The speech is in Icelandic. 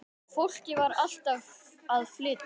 Fólkið var alltaf að flytja.